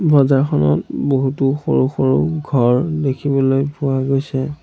বজাৰখনত বহুতো সৰু সৰু ঘৰ দেখিবলৈ পোৱা গৈছে।